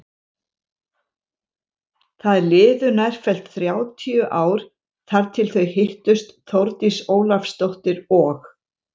Það liðu nærfellt þrjátíu ár þar til þau hittust Þórdís Ólafsdóttir og